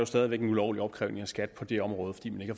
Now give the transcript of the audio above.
stadig væk en ulovlig opkrævning af skat på det område fordi man